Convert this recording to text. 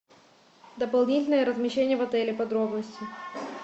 дополнительное размещение в отеле подробности